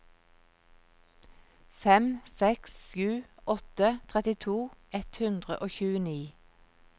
fem seks sju åtte trettito ett hundre og tjueni